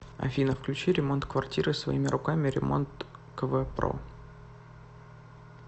афина включи ремонт квартиры своими руками ремонткв про